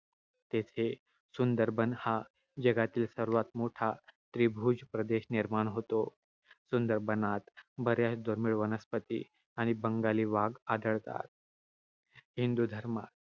तेथे सुंदर बन हा जगातील सर्वात मोठा त्रिभुज प्रदेश निर्माण होतो. सुंदर बनात बऱ्याच दुर्मिळ वनस्पती आणि बंगाली वाघ आढळतात. हिंदू धर्म